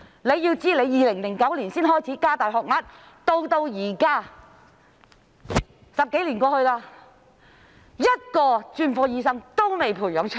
政府在2009年才開始加大學額，到現在10多年過去，一個專科醫生都未能培訓出來。